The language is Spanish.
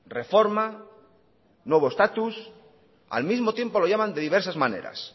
reforma nuevo estatus al mismo tiempo lo llaman de diversas maneras